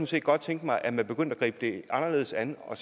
set godt tænke mig at man begyndte at gribe det anderledes an og